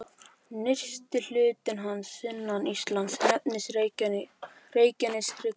Nyrsti hluti hans sunnan Íslands nefnist Reykjaneshryggur.